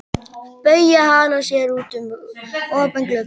Bauja hallar sér út um opinn glugga.